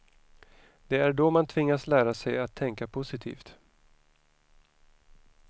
Det är då man tvingas lära sig att tänka positivt.